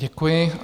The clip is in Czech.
Děkuji.